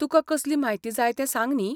तुका कसली म्हायती जाय तें सांग न्ही.